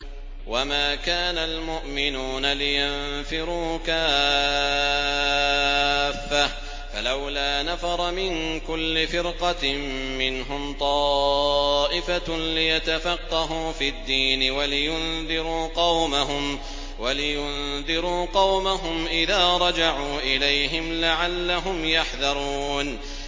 ۞ وَمَا كَانَ الْمُؤْمِنُونَ لِيَنفِرُوا كَافَّةً ۚ فَلَوْلَا نَفَرَ مِن كُلِّ فِرْقَةٍ مِّنْهُمْ طَائِفَةٌ لِّيَتَفَقَّهُوا فِي الدِّينِ وَلِيُنذِرُوا قَوْمَهُمْ إِذَا رَجَعُوا إِلَيْهِمْ لَعَلَّهُمْ يَحْذَرُونَ